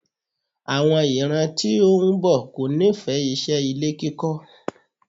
Àwọn ìran tí ó ń bọ̀ kò nífẹ̀ẹ́ iṣẹ́ ilé kíkọ́.